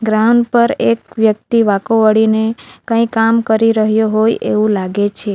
Ground પર એક વ્યક્તિ વાકો વાળીને કંઈક કામ કરી રહ્યો હોય એવું લાગે છે.